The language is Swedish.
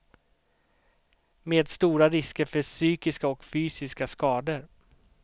Med stora risker för psykiska och fysiska skador.